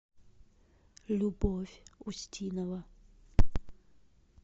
любовь устинова